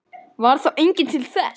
Varð þá enginn til þess.